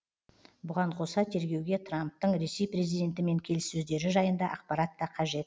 бұған қоса тергеуге трамптың ресей президентімен келіссөздері жайында ақпарат та қажет